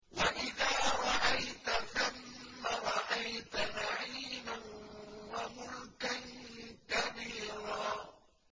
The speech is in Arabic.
وَإِذَا رَأَيْتَ ثَمَّ رَأَيْتَ نَعِيمًا وَمُلْكًا كَبِيرًا